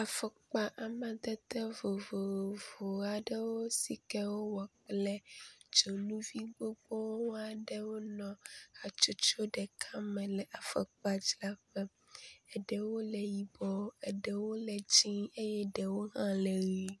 Afɔkpa amdede vovovowo aɖewo si ke wowɔ kple dzonuvi gbogbowo aɖewo nɔ hatsotso ɖeka me le afɔkpazraƒe. Ɖewo le yibɔ eɖewo le dzie eye ɖewo hã le ʋi.